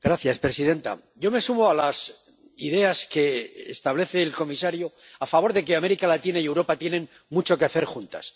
Señora presidenta, yo me sumo a las ideas que establece el comisario a favor de que América Latina y Europa tienen mucho que hacer juntas.